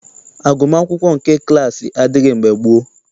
Agụmaakwụkwọ nke klaasị adịghị mgbe gboo.